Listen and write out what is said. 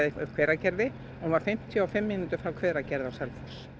Hveragerði hún var fimmtíu og fimm mínútur frá Hveragerði á Selfoss